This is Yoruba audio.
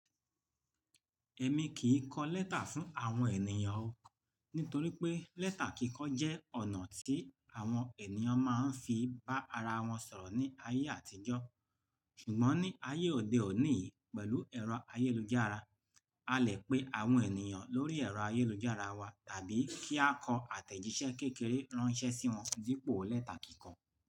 Ẹ̀mi kì í kọ lẹ́tà fún àwọn ènìyàn o, nítorí pé lẹ́tà kíkọ jẹ́ ọ̀nà tí àwọn ènìyàn máa ń fi í bá ara wọn sọ̀rọ̀ ní ayé àtijọ́. Ṣùgbọ́n ní ayé òde òní yìí, pẹ̀lú ẹ̀rọ ayélujára, a lè pe àwọn ènìyàn lórí ẹ̀rọ ayélujára wa tàbí kí á kọ àtẹ̀jíṣẹ́ kékeré ránṣẹ́ sí wọn dípò lẹ́tà kíkọ.